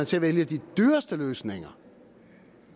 til at vælge de dyreste løsninger